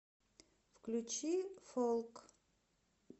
включи фолк